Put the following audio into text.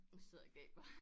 Sidder og gaber